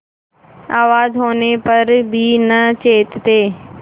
आवाज होने पर भी न चेतते